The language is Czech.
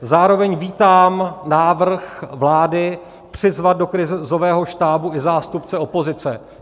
Zároveň vítám návrh vlády přizvat do krizového štábu i zástupce opozice.